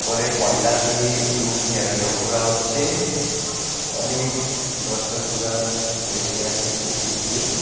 উপরে পন্ডাল দিয়ে একটু ঘেরানো করা হচ্ছে অনেক দর্শকগুলা বসে আছে কুরসি দিয়ে।